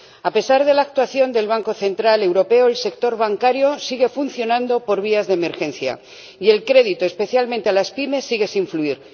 A pesar de la actuación del Banco Central Europeo, el sector bancario sigue funcionando por vías de emergencia, y el crédito, especialmente a las pymes, sigue sin fluir